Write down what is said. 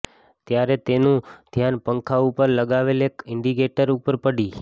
ત્યારે તેનું ધ્યાન પંખા ઉપર લગાવેલા એક ઈંડીકેટર ઉપર પડી